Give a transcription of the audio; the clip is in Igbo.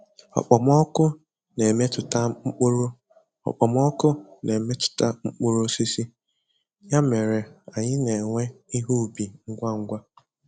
Okpomọkụ na-emetụta mkpụrụ Okpomọkụ na-emetụta mkpụrụ osisi, ya mere anyị na-ewe ihe ubi ngwa ngwa.